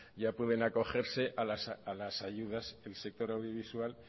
ya pueden acogerse a las ayudas del sector audiovisual